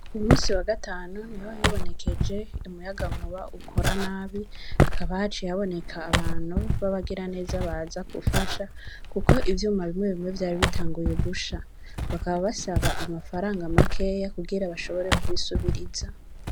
Ku munsi wa gatanu, niho hibonekeje umuyagankuba ukora nabi, hakaba haciye hoboneka abantu b'abagiraneza baza gufasha, kuko ivyuma bimwe bimwe vyari bitanguye gusha; bakaba basaba amafaranga makeya kugira bashobore kubisubiriza.